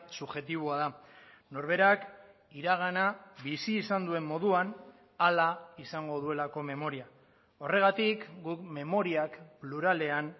subjektiboa da norberak iragana bizi izan duen moduan hala izango duelako memoria horregatik guk memoriak pluralean